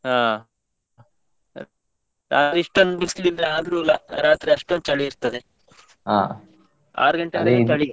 ಹಾ , ಇಷ್ಟೊಂದು ಬಿಸಿಲಿದ್ರೆ ಆದ್ರೂ ರಾತ್ರಿ ಅಷ್ಟೊಂದು ಚಳಿ ಇರ್ತದೆ ಹಾ ಆರು ಗಂಟೆವರೆಗೆ ಚಳಿಯೇ.